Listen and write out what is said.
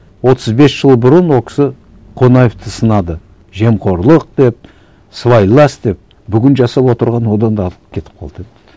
отыз бес жыл бұрын ол кісі қонаевты сынады жемқорлық деп сыбайлас деп бүгін жасап отырғаны одан да артық кетіп қалды енді